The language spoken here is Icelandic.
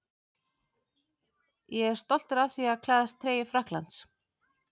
Ég er stoltur af því að klæðast treyju Frakklands.